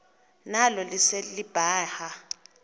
nalo lise libaha